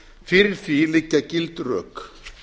fyrir því liggja gild rök